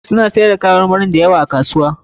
Suna siyar da kayan marmari da yawa a kasuwa.